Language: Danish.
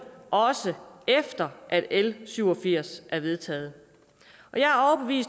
også efter l syv og firs er vedtaget